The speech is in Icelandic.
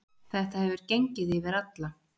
Þetta hefur gengið fyrir alla.